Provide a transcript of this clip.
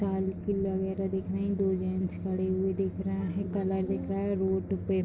दो जेन्स खड़े हुए दिख रहे हैं। कलर दिख रहा है रोड पे --